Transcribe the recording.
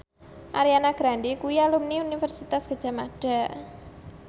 Ariana Grande kuwi alumni Universitas Gadjah Mada